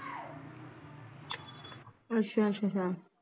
ਅੱਛਾ ਅੱਛਾ ਅੱਛਾ